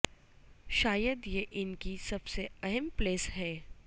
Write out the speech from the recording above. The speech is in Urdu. شاید یہ ان کی سب سے اہم پلس ہے